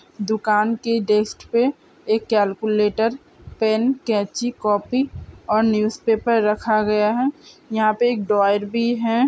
दुकान के डेस्क पे एक कैलकुलेटर पेन कैंची कॉपी और न्यूज़ पेपर रखा गया है यहाँ पे एक ड्रॉयर भी है।